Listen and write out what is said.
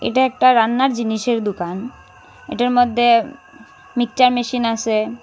এটা একটা রান্নার জিনিসের দুকান এটার মদ্যে উম-ম মিকচার মেশিন আসে।